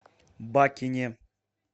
бакине